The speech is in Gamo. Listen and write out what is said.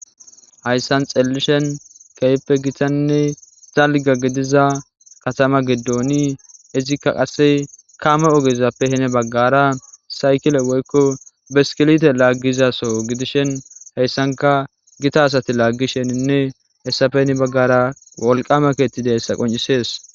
hayssan xellishen keeyippe gitanne talga gidiza katama giddooni izikka qasse kaame ogezappe hine baggara saykile woykko beskilite laaggizaso gidishen heyssanka gita asati laaggisheninne hessafeni baggara wolqama keettida ssa qoncisees